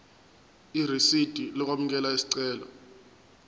irisidi lokwamukela isicelo